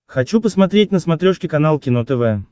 хочу посмотреть на смотрешке канал кино тв